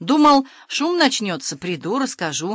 думал шум начнётся приду расскажу